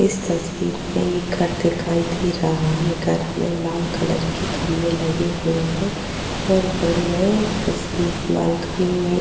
इस तस्वीर में एक घर दिखाई दे रहा है। घर में लाल कलर के खंभे लगे हुए हैं और घर में बालकनी में --